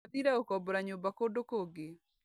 Athire gũkombora nyũmba kũndũ kũngi.